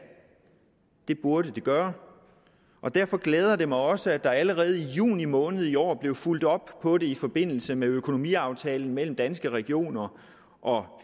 det burde det gøre og derfor glæder det mig også at der allerede i juni måned i år blev fulgt op på det i forbindelse med økonomiaftalen mellem danske regioner og